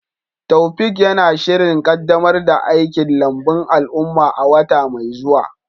Taofiq yana shirin kaddamar da aikin lambun al'umma a wata mai zuwa.